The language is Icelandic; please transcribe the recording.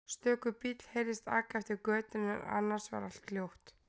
Stöku bíll heyrðist aka eftir götunni en annars var allt hljótt.